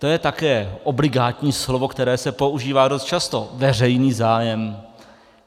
To je také obligátní slovo, které se používá dost často, veřejný zájem.